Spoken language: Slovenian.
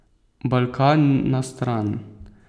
Balkan na stran.